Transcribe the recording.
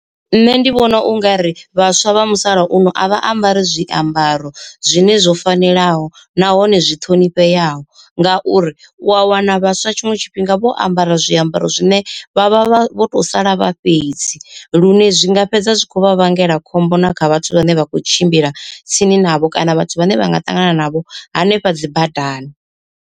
Nṋe ndi vhona ungari vhaswa vha musalauno a vha ambari zwiambaro zwine zwo fanelaho nahone zwi ṱhonifheaho. Ngauri u a wana vhaswa tshiṅwe tshifhinga vho ambara zwiambaro zwine vha vha vho to sala vha fhedzi, lune zwinga fhedza zwi kho vha vhangela khombo na kha vhathu vhane vha khou tshimbila tsini navho kana vhathu vhane vha nga ṱangana navho hanefha dzi badani.